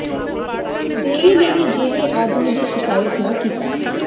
ਦੇਵੀ ਨੇ ਵੀ ਜੇਹੇ ਆਦਮੀ ਦੀ ਸ਼ਿਕਾਇਤ ਨਾ ਕੀਤਾ